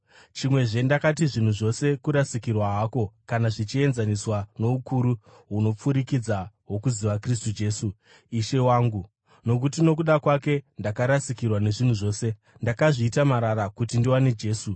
Chimwezve ndakati zvinhu zvose kurasikirwa hako kana zvichienzaniswa noukuru hunopfurikidza hwokuziva Kristu Jesu, Ishe wangu, nokuti nokuda kwake ndakarasikirwa nezvinhu zvose. Ndakazviita marara, kuti ndiwane Kristu.